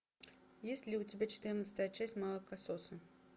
есть ли у тебя четырнадцатая часть молокососы